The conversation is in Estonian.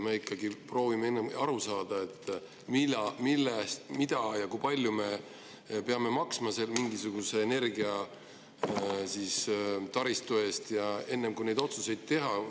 Me ikkagi proovime aru saada, kui palju me peame maksma mingisuguse energiataristu eest, enne kui neid otsuseid teeme.